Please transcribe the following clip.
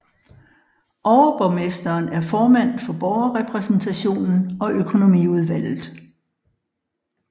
Overborgmesteren er formand for borgerrepræsentationen og økonomiudvalget